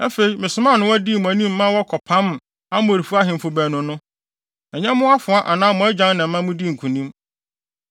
Afei, mesomaa nnowa dii mo anim ma wɔkɔpam Amorifo ahemfo baanu no. Ɛnyɛ mo afoa anaa mo agyan na ɛma mudii nkonim.